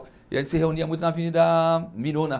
E a gente se reunia muito na Avenida Miruna.